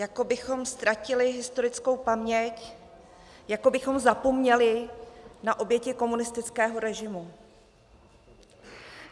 Jako bychom ztratili historickou paměť, jako bychom zapomněli na oběti komunistického režimu.